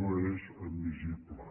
no és admissible